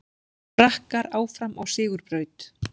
Frakkar áfram á sigurbraut